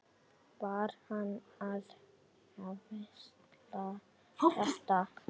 Var hann að hvísla þetta?